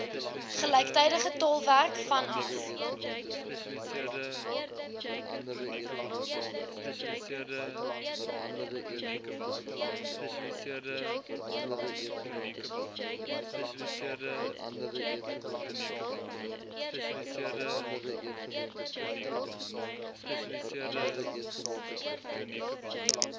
gelyktydige tolkwerk vanaf